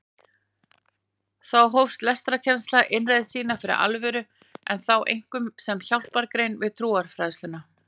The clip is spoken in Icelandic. Þá hóf lestrarkennsla innreið sína fyrir alvöru en þá einkum sem hjálpargrein við trúfræðsluna.